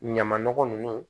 Ɲama nɔgɔ nunnu